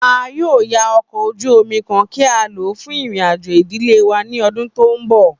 A yoo ya ọkọ oju omi kan ki o lọ fun irin-ajo idile wa ni ọdun to nbọ.